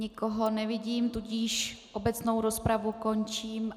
Nikoho nevidím, tudíž obecnou rozpravu končím.